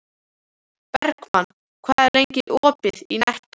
Bergmann, hvað er lengi opið í Nettó?